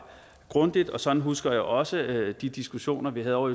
grundigt sådan husker jeg også de diskussioner vi havde ovre